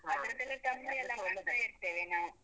ಅದ್ರದ್ದೆಲ್ಲ. ತಂಬ್ಳಿ ಎಲ್ಲ ಮಾಡ್ತಾ ಇರ್ತೇವೆ ನಾವು.